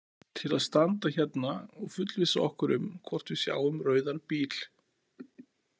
Til að standa hérna og fullvissa okkur um hvort við sjáum rauðan bíl.